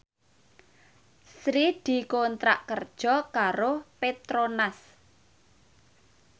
Sri dikontrak kerja karo Petronas